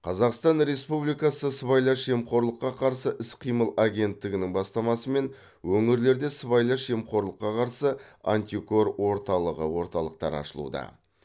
қазақстан республикасы сыбайлас жемқорлыққа қарсы іс қимыл агенттігінің бастамасымен өңірлерде сыбайлас жемқорлыққа қарсы антикор орталығы орталықтары ашылуда